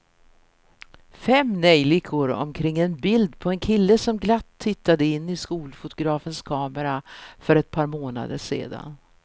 Fem neljikor omkring ett bild på en kille som glatt tittade in i skolfotografens kamera för ett par månader sedan.